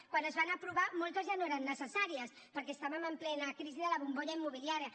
quan es van aprovar moltes ja no eren necessàries perquè estàvem en plena crisi de la bombolla immobiliària